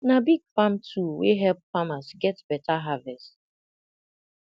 na big farm tool wey help farmers get better harvest